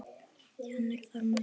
Kennir þar margra grasa.